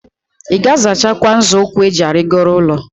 II ga-azachakwa nzo ukwu eji arigoro ulo?